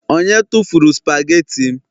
onye tufuru spageti m